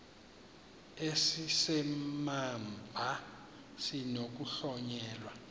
esi simamva sinokuhlonyelwa